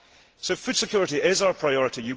So, food security is our priority.